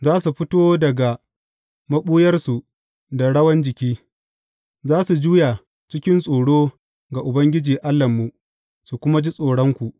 Za su fito daga maɓuyarsu da rawan jiki, za su juya cikin tsoro ga Ubangiji Allahnmu su kuma ji tsoronku.